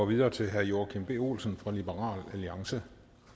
videre til herre joachim b olsen fra liberal alliance